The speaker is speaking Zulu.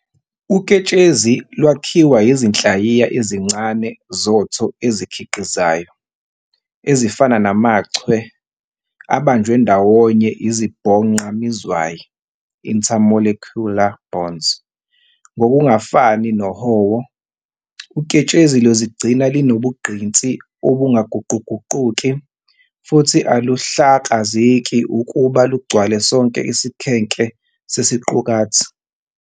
Uketshezi lwakhiwa izinhlayiyana ezincane zotho eziqhikizayo, ezifana namachwe, abanjwe ndawonye izibhonqa mizwayi "intermolecular bonds". Ngokungafani nohowo, uketshezi luzigcina linobugqinsi obungaguquguquki futhi aluhlakazeki ukuba lugcwale sonke isikhenke sesiqukathi.